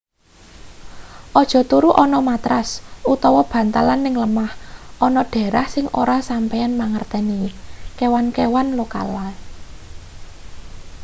aja turu ana matras utawa bantalan ning lemah ana daerah sing ora sampeyan mangerteni kewan-kewan lokale